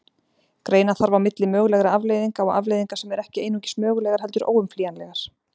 Greina þarf á milli mögulegra afleiðinga og afleiðinga sem eru ekki einungis mögulegar heldur óumflýjanlegar.